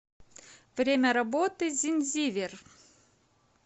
время работы зинзивер